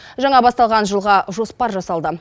жаңа басталған жылға жоспар жасалды